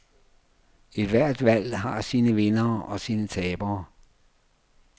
Ethvert valg har sine vindere og sine tabere.